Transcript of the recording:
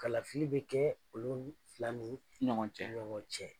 Kalafili bɛ kɛ olu fila ni ɲɔgɔn cɛ.